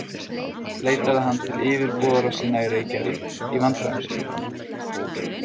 Leitaði hann til yfirboðara sinna í Reykjavík í vandræðum sínum.